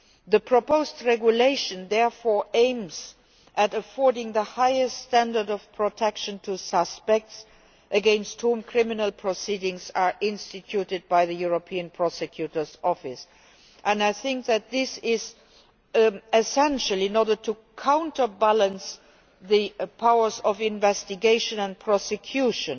The proposed regulation therefore aims to afford the highest standard of protection to suspects against whom criminal proceedings are instituted by the European Public Prosecutor's Office. This is essential in order to counterbalance the powers of investigation and prosecution